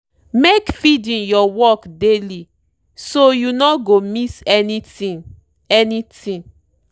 make feeding your work daily so you no go miss anything. anything.